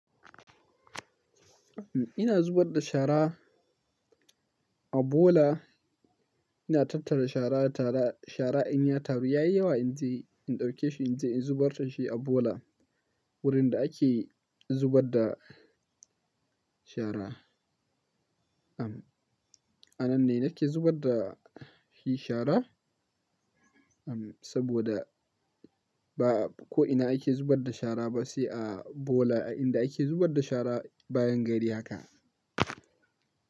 Ina zubar da shara a bola. Ina tattara shara, tara shara in yi taru. Yayi yawa in je in ɗauke shi in je in zubar da shi a bola wurin da ake zubar da shara. A nan nake zubar da shi shara saboda ba ko ina ake zubar da shara ba sai a bola. Inda ake zubar da shara bayan gari haka.